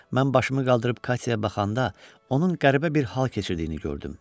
Mən başımı qaldırıb Katyaya baxanda onun qəribə bir hal keçirdiyini gördüm.